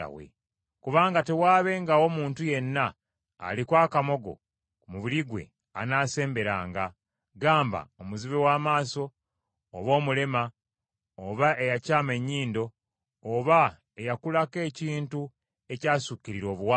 Kubanga tewaabengawo muntu yenna aliko akamogo ku mubiri gwe anaasemberanga. Gamba: omuzibe w’amaaso, oba omulema, oba eyakyama ennyindo, oba eyakulako ekintu ekyasukkirira obuwanvu;